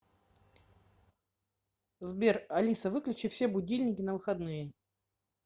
сбер алиса выключи все будильники на выходные